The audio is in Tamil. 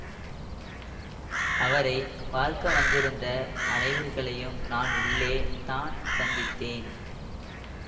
அவரை பார்க்க வந்திருந்த அவர்களையும் நான் உள்ளே தான் சந்தித்தேன்